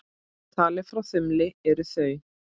Talið frá þumli eru þau